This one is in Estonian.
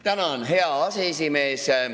Tänan, hea aseesimees!